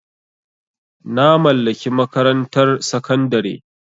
Na mallaki makarantar sakandare.